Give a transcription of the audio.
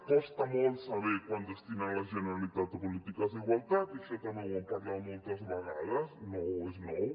costa molt saber quant destina la generalitat a polítiques d’igualtat i això també ho hem parlat moltes vegades no és nou